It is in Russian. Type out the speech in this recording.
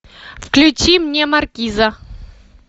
включи мне маркиза